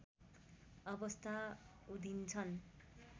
अवस्था उधिन्छन्